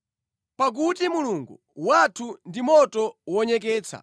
Pakuti Mulungu wathu ndi moto wonyeketsa.